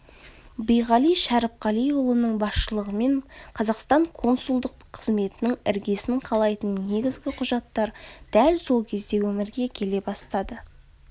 биғали шәріпқалиұлының басшылығымен қазақстан консулдық қызметінің іргесін қалайтын негізгі құжаттар дәл сол кезде өмірге келе бастады